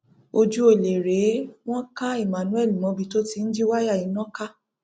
ojú ọlẹ rèé wọn ka emmanuelmobi tó ti ń jí wáyà iná ká